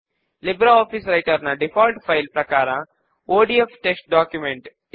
ఇప్పుడు మూడవ స్టెప్ లో సబ్ ఫామ్ ఫీల్డ్స్ ను యాడ్ చేద్దాము